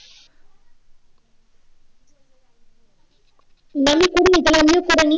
না আমি করিনি তাহলে আমিও কর নেই